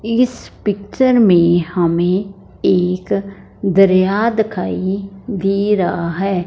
इस पिक्चर में हमें एक दरिया दिखाइ दे रहा हैं।